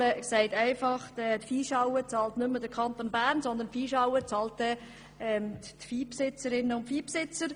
Bedeutet es, dass nicht mehr der Kanton Bern die Viehschauen Viehbesitzerinnen und -besitzer?